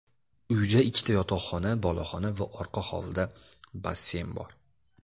Uyda ikkita yotoqxona, boloxona va orqa hovlida basseyn bor.